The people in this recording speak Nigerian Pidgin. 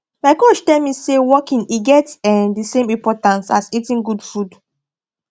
my coach tell me say walking e get um the same importance as eating good food